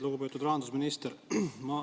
Lugupeetud rahandusminister!